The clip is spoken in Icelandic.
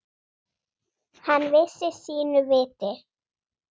Hann vissi sínu viti.